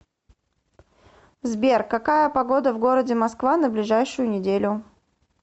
сбер какая погода в городе москва на ближайшую неделю